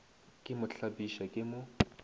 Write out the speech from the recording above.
ke mo hlapiša ke mo